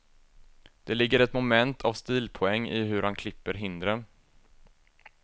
Det ligger ett moment av stilpoäng i hur han klipper hindren.